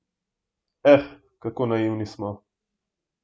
Eh, kako naivni smo!